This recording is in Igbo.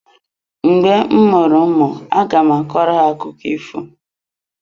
Mgbe m mụrụ ụmụ aga m akọrọ ha akụkụ ifo.